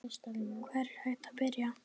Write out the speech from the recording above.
Hvar er hægt að byrja?